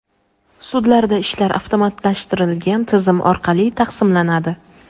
Sudlarda ishlar avtomatlashtirilgan tizim orqali taqsimlanadi.